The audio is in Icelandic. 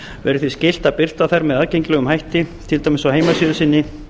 verði því skylt að birta þær með aðgengilegum hætti til dæmis á heimasíðu sinni